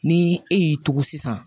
Ni e y'i tugu sisan